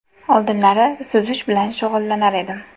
Oldinlari suzish bilan shug‘ullanar edim.